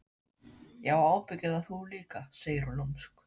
Já og ábyggilega þú líka, segir hún lúmsk.